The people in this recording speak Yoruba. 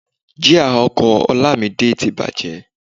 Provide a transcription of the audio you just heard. Jia ọkọ̀ Olamide ti bàjẹ́